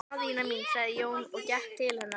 Daðína mín, sagði Jón og gekk til hennar.